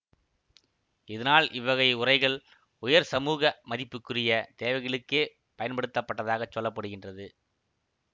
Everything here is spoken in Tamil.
இதனால் இவ்வகை உறைகள் உயர் சமூக மதிப்புக்குரிய தேவைகளுக்கே பயன்படுத்த பட்டதாகச் சொல்ல படுகின்றது